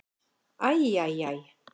Æ, æ, æ.